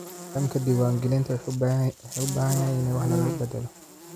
Nidaamka diiwaangelinta wuxuu u baahan yahay in wax laga beddelo.